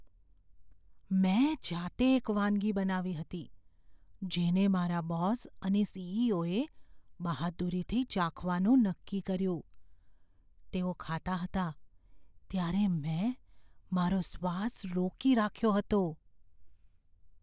મેં જાતે એક વાનગી બનાવી હતી, જેને મારા બોસ અને સી.ઇ.ઓ.એ બહાદુરીથી ચાખવાનું નક્કી કર્યું. તેઓ ખાતા હતા ત્યારે મેં મારો શ્વાસ રોકી રાખ્યો હતો.